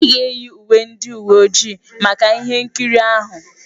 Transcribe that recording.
Ị ga-eyi uwe ndị uwe ojii maka ihe nkiri ahụ.